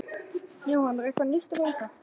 Jóhann, er eitthvað nýtt að frétta?